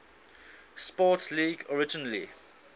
sports league originally